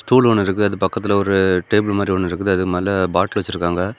Stool ஒன்னு இருக்குது அது பக்கத்துல ஒரு டேபிள் மாரி ஒன்னு இருக்குது அதுக்கு மேல பாட்டில் வச்சிருக்காங்க.